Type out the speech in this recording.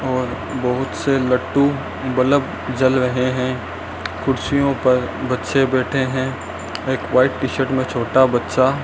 और बहोत से लट्टू बल्ब जल रहे है कुर्सियों पर बच्चे बैठे हैं एक व्हाइट टी शर्ट मे छोटा बच्चा --